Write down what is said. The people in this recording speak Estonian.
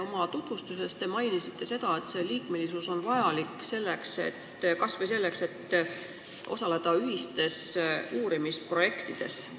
Oma tutvustuses te mainisite, et liikmesus on vajalik kas või selleks, et osaleda ühistes uurimisprojektides.